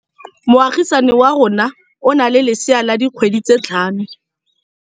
Moagisane wa rona o na le lesea la dikgwedi tse tlhano.